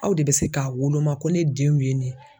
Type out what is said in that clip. Aw de bɛ se k'a woloma ko ne denw ye nin ye.